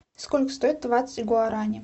сколько стоит двадцать гуарани